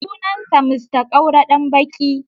Sunansa Mr Kaura Danbaki.